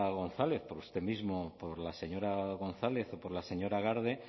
gonzález por usted mismo por la señora gonzález o por la señora garde